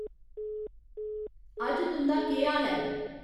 अज्ज तुं'दा केह् हाल ऐ